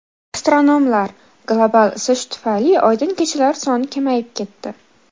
Astronomlar: Global isish tufayli oydin kechalar soni kamayib ketdi.